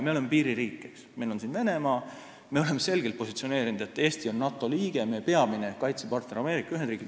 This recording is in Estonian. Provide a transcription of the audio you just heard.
Me oleme piiririik, meil on siin Venemaa, ja me oleme selgelt positsioneerinud, et Eesti on NATO liige ja meie peamine kaitsepartner on Ameerika Ühendriigid.